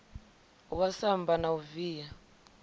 wa samba la u via